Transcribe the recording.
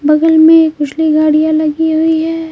बगल में खुशली गाड़ियां लगी हुई है।